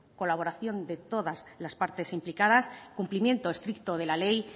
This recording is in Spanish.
colaboración de todas las partes implicadas cumplimiento estricto de la ley